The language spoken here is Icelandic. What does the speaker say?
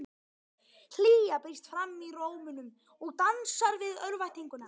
Hlýja brýst fram í rómnum og dansar við örvæntinguna.